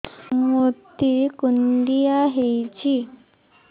ମୋତେ କୁଣ୍ଡିଆ ହେଇଚି